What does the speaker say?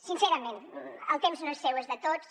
sincerament el temps no és seu és de tots